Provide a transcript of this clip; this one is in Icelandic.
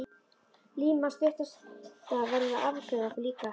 Lína stutta verður að afgreiða okkur líka.